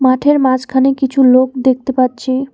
মাঠের মাঝখানে কিছু লোক দেখতে পাচ্ছি।